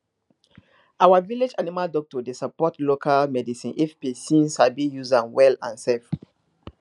our village animal doctor dey support local medicine if person sabi use am well and safe